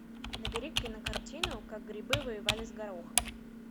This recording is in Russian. набери кинокартину как грибы воевали с горохом